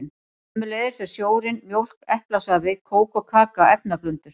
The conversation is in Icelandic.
Sömuleiðis eru sjórinn, mjólk, eplasafi, kók og kaka efnablöndur.